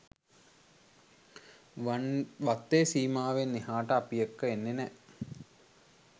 වත්තේ සීමාවෙන් එහාට අපි එක්ක එන්නේ නෑ.